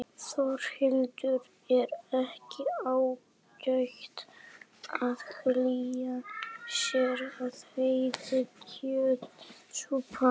Þórhildur: Er ekki ágætt að hlýja sér við heita kjötsúpu?